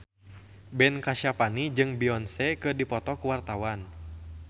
Ben Kasyafani jeung Beyonce keur dipoto ku wartawan